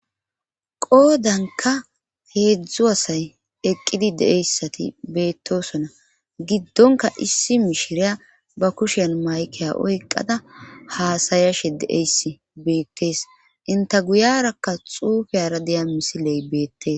qoodanka heedzdzu asay eqqidi de'eyssati beettosona giddonka issi mishiriya ba kushen maykeya oyqada haasayashe de'eys beettees inta guyarakka xuufeyara deya misiley beettee